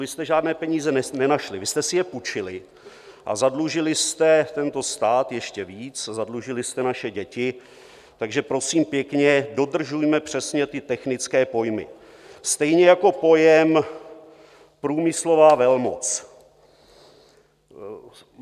Vy jste žádné peníze nenašli, vy jste si je půjčili a zadlužili jste tento stát ještě víc, zadlužili jste naše děti, takže prosím pěkně, dodržujme přesně ty technické pojmy, stejně jako pojem průmyslová velmoc.